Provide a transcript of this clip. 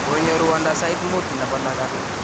konyo ruondo sait mut nebo lagat